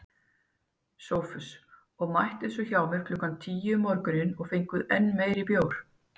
SOPHUS: Og mættuð svo hjá mér klukkan tíu um morguninn og fenguð enn meiri bjór.